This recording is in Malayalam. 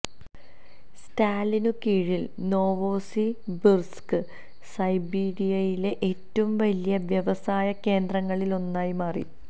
സ്റ്റാലിനു കീഴിൽ നോവോസിബിർസ്ക് സൈബീരിയയിലെ ഏറ്റവും വലിയ വ്യവസായ കേന്ദ്രങ്ങളിലൊന്നായി മാറി